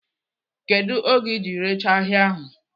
Kedu oge iji rechaa ahịa taa?